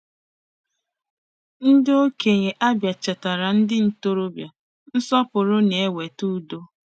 Ndị okenye Abia chetaara ndị ntorobịa: “nsọpụrụ na-eweta udo.”